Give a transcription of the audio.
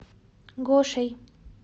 гошей